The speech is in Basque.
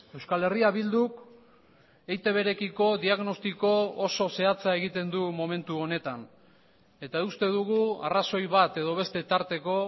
euskal herria bilduk eitb rekiko diagnostiko oso zehatza egiten du momentu honetan eta uste dugu arrazoi bat edo beste tarteko